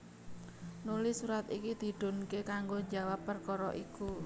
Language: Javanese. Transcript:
Nuli surat iki didhunké kanggo njawab perkara iku